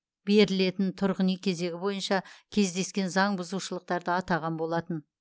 берілетін тұрғын үй кезегі бойынша кездескен заңбұзушылықтарды атаған болатын